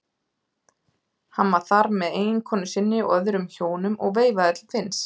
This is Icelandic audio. Hann var þar með eiginkonu sinni og öðrum hjónum og veifaði til Finns.